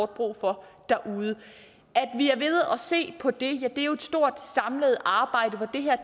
brug for derude at at se på det er jo et stort samlet arbejde hvor det her